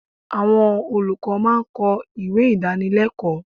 Àwọn olùkọ́ máa ń kọ ìwé Ìdánilẹ́kọ̀ọ́.